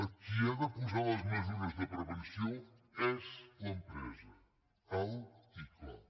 qui ha de posar les mesures de prevenció és l’empresa alt i clar